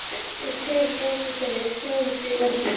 Um tíma gegndu þeir þjónustu í lendum